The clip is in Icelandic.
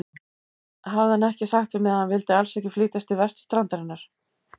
Hafði hann ekki sagt við mig, að hann vildi alls ekki flytjast til vesturstrandarinnar?